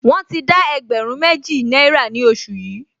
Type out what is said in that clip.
Wọ́n ti dá ẹgbẹ̀rún méjì náírà ní oṣù yìí